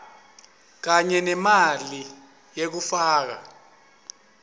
kanye nemali yekufaka